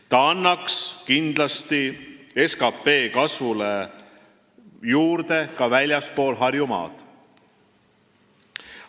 Ta annaks kindlasti juurde SKT kasvule ka väljaspool Harjumaad.